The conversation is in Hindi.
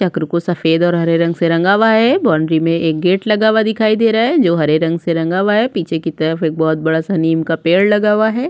चक्र को सफ़ेद और हरे रंग से रंगा हुआ है बाउंड्री में एक गेट लगा हुआ दिखाई दे रहा हैं जो हरे रंग से रंगा हुआ है पीछे की तरफ एक बहुत बड़ा सा नीम का पेड़ लगा हुआ है।